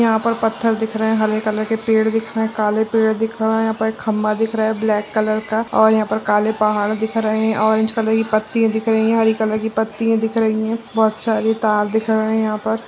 यहाँ पर पत्थर दिख रहें हैं हरे कलर के पेड़ दिख रहें हैं काले पेड़ दिख रहें हैं यह पे खम्बा दिख रहा है ब्लैक कलर का और यहाँ पे काले पहाड़ दिख रहें हैं ऑरेंज कलर की पत्तियाँ दिख रही हैं हरे की पत्तिया दिख रही हैं बहुत सारे तार दिख रहें हैं यहाँ पर।